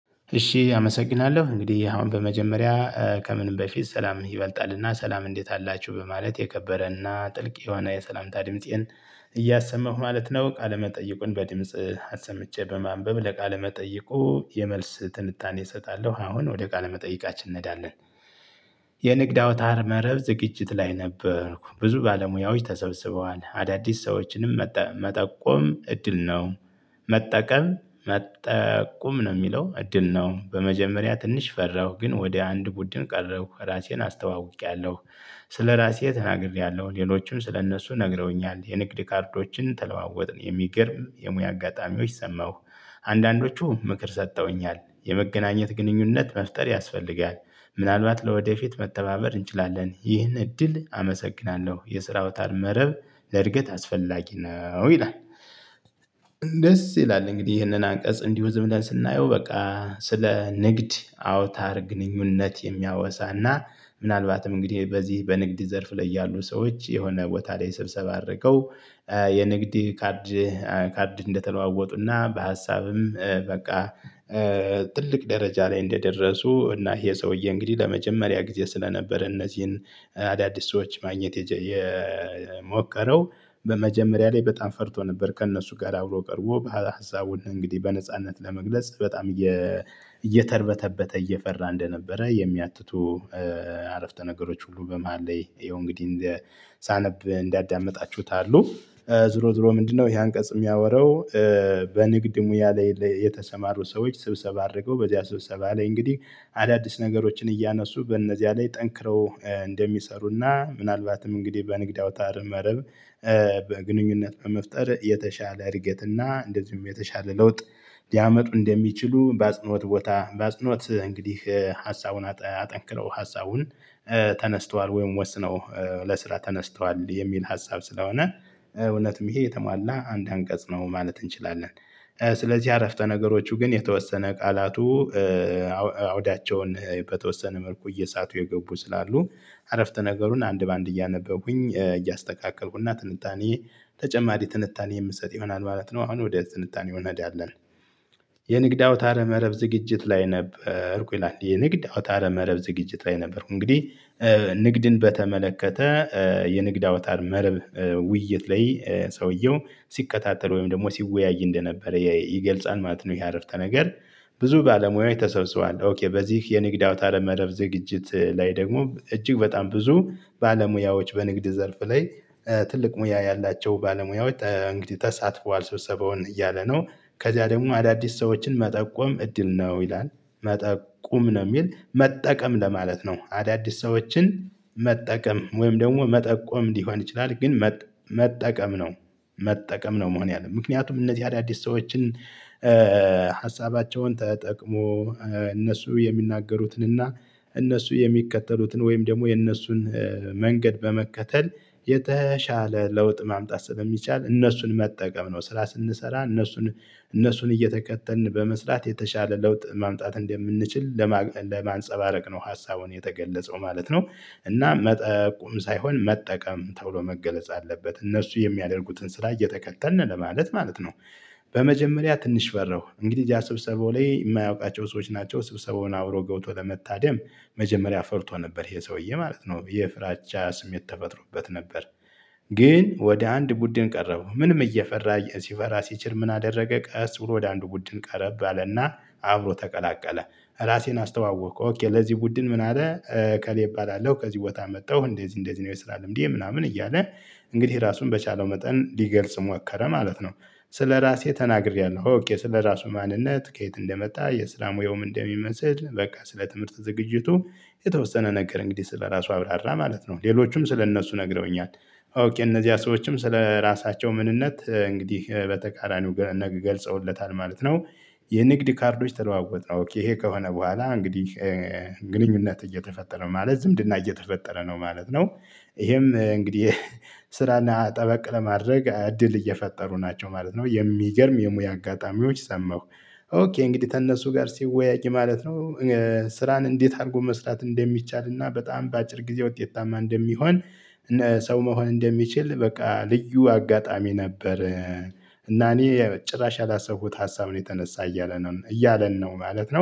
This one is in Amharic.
እሺ አመሰግናለሁ እንግዲህ አሁን በመጀመሪያ ከምን በፊት ሰላም ይበልጣልና ሰላም እንዴት አላችሁ በማለት የከበረና ጥልቅ የሆነ የሰላምታ ድምጽን እያሰመሁ ማለት ነው። ቃለ መጠይቁን በድምጽ አሰምቼ በማንበብ ለቃለመጠይቁ የመልስ ትንታኔ እሰጣለሁ አሁን ወደ ቃለመጠይቃችን እንሄዳለን። የንግድ አውታር መረብ ዝግጅት ላይ ነበርኩ ብዙ ባለሙያዎች ተሰብስበዋል አዳዲስ ሰዎችንም መጠቆም እድል ነው። መጠቀም መጠቆም ነው የሚለው እድል ነው። በመጀመሪያ ትንሽ ፈራሁ ግን ወደ አንድ ቡድን ቀረብኩ ራሴን አስተዋውቄያለሁ። ስለራሴ ተናግሬያለሁ ሌሎችም ስለእነሱ ነግረውኛል የንግድ ካርዶችን ተለዋወጥን የሚገርም የሙያ አጋጣሚዎች ሰማሁ። አንዳንዶቹ ምክር ሰጠውኛል የመገናኘት ግንኙነት መፍጠር ያስፈልጋል። ምናልባት ለወደፊት መተባበር እንችላለን ይህን እድል አመሰግናለሁ። የስራ አውታል መረብ ለእድገት አስፈላጊ ነው ይላል። ደስ ይላል እንግዲህ ይሄንን አንቀጽ እንዲሁ ዝም ላይ ስናየው በቃ ስለ ንግድ አውታር ግንኙነት የሚያወሳና ምናልባትም እንግዲህ በዚህ በንግድ ዘርፍ ላይ ያሉ ሰዎች የሆነ ቦታ ላይ ስብሰባ አድርገው። የንግድ ካርድ ካርድ እንደተለዋወጡና በሀሳብም በቃ። ትልቅ ደረጃ ላይ እንደደረሱ እና ይሄ ሰውዬ እንግዲህ ለመጀመሪያ ጊዜ ስለነበረ እነዚህን አዳዲስ ሰዎች ማግኘት የሞከረው። በመጀመሪያ ላይ በጣም ፈርቶ ነበር ከእነሱ ጋር አብሮ ቀርቦ በኋላ ሀሳቡን እንግዲህ በነጻነት ለመግለጽ በጣም እየተርበተበተ እየፈራ እንደነበረ የሚያትቱ። አረፍተ ነገሮች ሁሉ በመሃል ላይ ይሄው እንግዲህ ሳነብ እንዳዳመጣችሁት አሉ። ዙሮ ዙሮ ምንድነው? ይሄ አንቀጽ የሚያወራው? በንግድ ሙያ ላይ የተሰማሩ ሰዎች ስብሰባ አድርገው በዚያ ስብሰባ ላይ እንግዲህ አዳዲስ ነገሮችን እያነሱ በእነዚያ ላይ ጠንክረው እንደሚሰሩና ምናልባትም እንግዲህ በንግድ አውተረ መረብ። በግንኙነት መፍጠር የተሻለ እድገትና እንደዚሁም የተሻለ ለውጥ። ሊያመጡ እንደሚችሉ በአጽኖት ቦታ በአጽኖት እንግዲህ ሀሳቡን አጠንክረው ሀሳቡን ተነስተዋል ወይም ወስነው ለስራ ተነስተዋል የሚል ሀሳብ ስለሆነ። እውነትም ይሄ የተሟላ አንድ አንቀጽ ነው ማለት እንችላለን። ስለዚህ አረፍተ ነገሮቹ ግን የተወሰነ ቃላቱ አውዳቸውን በተወሰነ መልኩ እየሳቱ የገቡ ስላሉ። አረፍተ ነገሩን አንድ በአንድ እያነበቡኝ እያስተካከልኩና ትንታኔ ተጨማሪ ትንታኔ የምሰጥ ይሆናል ማለት ነው። አሁን ወዲያ ትንታኔ ይሆናል አይደለም? የንግድ አውታረ መረብ ዝግጅት ላይ ነበርኩ ይላል የንግድ አውታር መረብ ዝግጅት ላይ ነበርኩ እንግዲህ። ንግድን በተመለከተ የንግድ አውታር መርብ ውይይት ላይ ሰውየው ሲከታተል ወይም ደግሞ ሲወያይ እንደነበረ ይገልጻል ማለት ነው። ይሄ አረፍተ ነገር ብዙ ባለሙያዎች ተሰብስቧል ኦኬ በዚህ የንግድ አውታር መረብ ዝግጅት ላይ ደግሞ እጅግ በጣም ብዙ ባለሙያዎች በንግድ ዘርፍ ላይ ትልቅ ሙያ ያላቸው ባለሙያዎች እንግዲህ ተሳትፏል ሰብሰበውን እያለ ነው። ከዚያ ደግሞ አዳዲስ ሰዎችን መጠቆም እድል ነው ይላል። መጠቆም ነው የሚል መጠቀም ለማለት ነው አዳዲስ ሰዎችን መጠቀም ወይም ደግሞ መጠቆም ሊሆን ይችላል። ግን መጠቀም ነው። መጠቀም ነው መሆን ያለበት ምክንያቱም እነዚህ አዳዲስ ሰዎችን ሀሳባቸውን ተጠቅሞ እነሱ የሚናገሩትን እና እነሱ የሚከተሉትን ወይም ደግሞ የነሱን መንገድ በመከተል የተሻለ ለውጥ ማምጣት ስለሚቻል እነሱን መጠቀም ነው። ስራ ስንሰራ እነሱን እነሱን እየተከተልን በመስራት የተሻለ ለውጥ ማምጣት እንደምንችል ለማንፀባረቅ ነው ሀሳቡን የተገለፀው ማለት ነው። እና መጠቁም ሳይሆን መጠቀም ተብሎ መገለጽ አለበት እነሱ የሚያደርጉትን ስራ እየተከተልን ለማለት ማለት ነው። በመጀመሪያ ትንሽ በረሁ እንግዲህ እዚያ ስብሰባው ላይ የማያውቃቸው ሰዎች ናቸው ስብሰባውን አብሮ ገብቶ ለመታደም መጀመሪያ ፈርቶ ነበር ይሄ ሰውዬ ማለት ነው የፍራቻ ስም ተፈጥሮበት ነበር። ግን ወደ አንድ ቡድን ቀረበው ምንም እየፈራ ሲፈራ ሲችል ምን አደረገ? ቀስ ብሎ ወደ አንዱ ቡድን ቀረብ አለና አብሮ ተቀላቀለ ራሴን አስተዋወቀ ለዚህ ቡድን ምን አለ? ከሌብ እባላለሁ ከዚህ ቦታ መጣሁ እንደዚህ እንደዚህ ነው የሰራ ልምዴ ምናምን እያለ እንግዲህ ራሱን በቻለው መጠን ሊገልጽ ሞከረ ማለት ነው። ስለራሴ ተናግሬያለሁ ስለራሱ ማንነት ከየት እንደመጣ የስራ ሙያውም እንደሚመስል በቃ ስለ ትምህርት ዝግጅቱ። የተወሰነ ነገር እንግዲህ ስለራሱ አብራራ ማለት ነው። ሌሎቹም ስለእነሱ ነግረውኛል። እነዚህ ሰዎችም ስለራሳቸው ምንነት እንግዲህ በተቃራኒው ገልጸውለታል ማለት ነው። የንግድ ካርዶች ተለዋወጥነው ይሄ ከሆነ በኋላ እንግዲህ ግንኙነት እየተፈጠረ ማለት ዝምድና እየተፈጠረ ነው ማለት ነው። ይሄም እንግዲህ ስራና ጠበቅ ለማድረግ እድል እየፈጠሩ ናቸው ማለት ነው የሚገርም የሙያ አጋጣሚዎች ሰማሁ። ኦኬ እንግዲህ ተነሱ ጋር ሲወያይ ማለት ነው። ስራን እንዴት አድርጎ መስራት እንደሚቻልና በጣም በአጭር ጊዜ ውጤታማ እንደሚሆን። እነ ሰው መሆን እንደሚችል በቃ ልዩ አጋጣሚ ነበር። እና እኔ ጭራሽ ያላሰፉት ሀሳብ ነው የተነሳ እያለ ነው እያለን ነው ማለት ነው